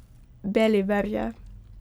Beliverje.